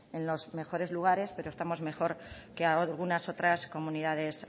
en los mejores lugares pero estamos mejor que algunas otras comunidades